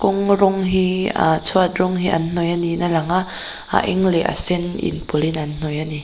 kawng rawng hi ahh chhuat rawng hi an hnawih a niin a lang a a eng leh a sen in pawlh in an hnawih ani.